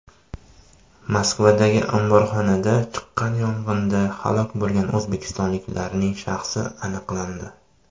Moskvadagi omborxonada chiqqan yong‘inda halok bo‘lgan o‘zbekistonliklarning shaxsi aniqlandi.